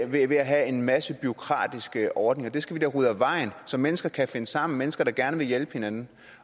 ved at have en masse bureaukratiske ordninger det skal vi da rydde af vejen så mennesker kan finde sammen mennesker der gerne vil hjælpe hinanden